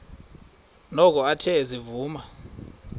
noko athe ezivuma